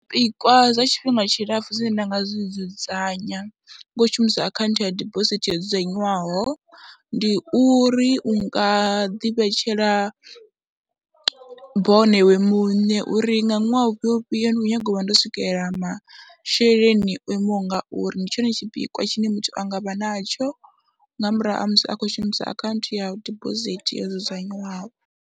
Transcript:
Zwipikwa zwa tshifhinga tshilapfhu zwine nda nga zwi dzudzanya ngo u shumisa akhaunthu ya dibosithi yo dzudzanyiwaho, ndi uri u nga ḓivhetshela bono iwe muṋe uri nga ṅwaha ufhio ufhio ndi nyaga u vha ndo swikelela masheleni o imaho nga uri, ndi tshone tshipikwa tshine muthu a nga vha natsho nga murahu ha musi a khou shumisa akhaunthu ya dibosithi yo dzudzanyiwaho.